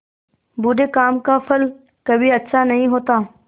बुरे काम का फल कभी अच्छा नहीं होता